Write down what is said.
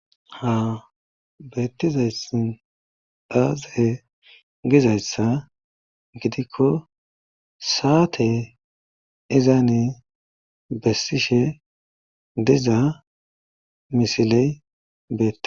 ha beettizays daaze gizayssa gidikko saate izani bessishe diza misiley bete